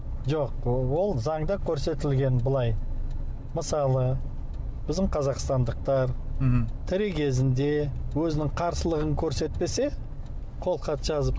жоқ ол ол заңда көрсетілген былай мысалы біздің қазақстандықтар мхм тірі кезінде өзінің қарсылығын көрсетпесе қолхат жазып